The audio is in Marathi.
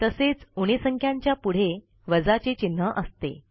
तसेच उणे संख्यांच्या पुढे वजाचे चिन्ह असते